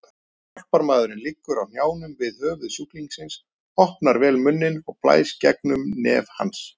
Hjálparmaðurinn liggur á hnjánum við höfuð sjúklingsins, opnar vel munninn og blæs gegnum nef hans.